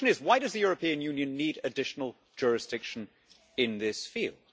The question is, why does the European Union need additional jurisdiction in this field?